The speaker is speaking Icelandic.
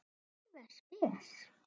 Alveg spes.